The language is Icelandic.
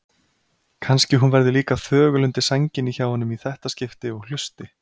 Kannski hún verði líka þögul undir sænginni hjá honum í þetta skipti og hlusti.